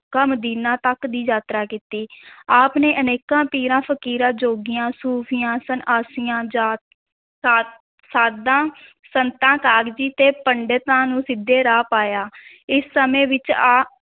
MAKA Medina ਤੱਕ ਦੀ ਯਾਤਰਾ ਕੀਤੀ ਆਪ ਨੇ ਅਨੇਕਾਂ ਪੀਰਾਂ, ਫ਼ਕੀਰਾਂ, ਜੋਗੀਆਂ, ਸੂਫ਼ੀਆਂ, ਸੰਨਿਆਸੀਆਂ, ਜਾ~ ਸਾ~ ਸਾਧਾਂ ਸੰਤਾਂ, ਕਾਜ਼ੀ ਤੇ ਪੰਡਤਾਂ ਨੂੰ ਸਿੱਧੇ ਰਾਹ ਪਾਇਆ ਇਸ ਸਮੇਂ ਵਿੱਚ ਆ~